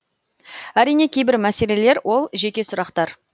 әрине кейбір мәселелер ол жеке сұрақтар